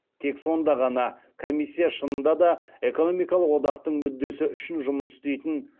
тек сонда ғана комиссия шынында да экономикалық одақтың мүддесі үшін жұмыс істейтін